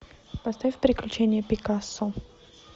поставь приключения пикассо